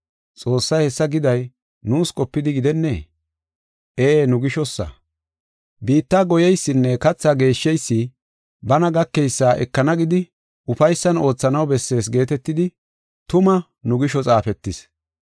Xoossay hessa giday nuus qopidi gidennee? Ee, nu gishosa. Biitta goyeysinne katha geeshsheysi bana gakeysa ekana gidi ufaysan oothanaw bessees geetetidi tuma nu gisho xaafetis.